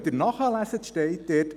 – Wenn Sie nachlesen, steht da: